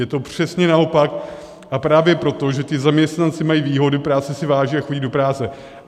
Je to přesně naopak, a právě proto, že ti zaměstnanci mají výhody, práce si váží a chodí do práce.